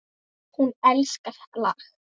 Hún elskar þetta lag!